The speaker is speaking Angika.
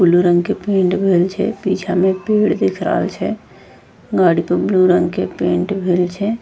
ब्लू रंग के पेंट भएल छै पीछा में पेड़ दिख रहल छै गाड़ी पे ब्लू रंग के पेंट भएल छै।